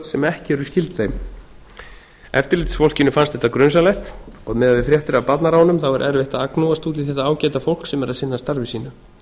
sem ekki eru skyld þeim eftirlitsfólkinu fannst þetta grunsamlegt og miðað við fréttir af barnaránum er erfitt að agnúast út í þetta ágæta fólk sem er að sinna starfi sínu